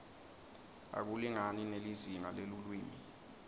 akulingani nelizinga lelulwimi